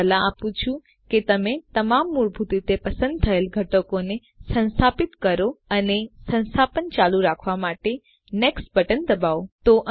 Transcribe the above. હું સલાહ આપું છું કે તમે તમામ મૂળભૂત રીતે પસંદ થયેલ ઘટકોને સંસ્થાપિત કરો અને સંસ્થાપન ચાલુ રાખવા માટે નેક્સ્ટ બટન દબાવો